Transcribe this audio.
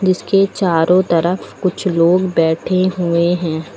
जिसके चारों तरफ कुछ लोग बैठे हुए हैं।